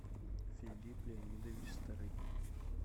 филипп леонидович старыгин